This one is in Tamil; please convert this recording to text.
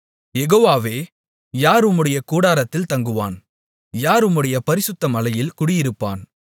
யெகோவாவே யார் உம்முடைய கூடாரத்தில் தங்குவான் யார் உம்முடைய பரிசுத்த மலையில் குடியிருப்பான்